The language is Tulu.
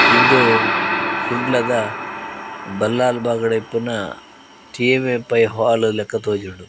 ಇಂದು ಕುಡ್ಲದ ಬಲ್ಲಾಳ್ ಬಾಗ್ ಡ್ ಇಪ್ಪುನ ಟಿ.ಎಮ್.ಎ ಪೈ ಹಾಲ್ ಲೆಕ ತೋಜುಂಡು.